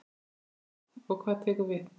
Gísli: Og hvað tekur við?